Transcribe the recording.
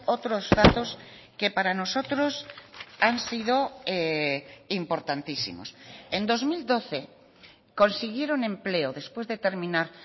otros datos que para nosotros han sido importantísimos en dos mil doce consiguieron empleo después de terminar